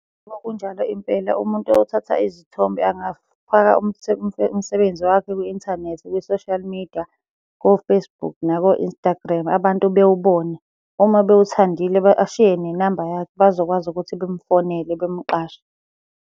Yebo kunjalo impela umuntu oyothatha izithombe angafaka umsebenzi wakhe kwi-inthanethi, kwi-social media, ko-Facebook nako-Instagram abantu bewubone. Uma bewuthandile ashiye nenamba yakhe, bazokwazi ukuthi bemufonela bemuqashe.